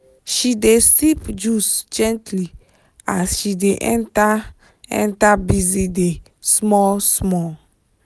she dey sip juice gently as she dey enter enter busy day small small.